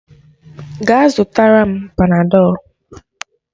Gaa zụtara m Panadọlu.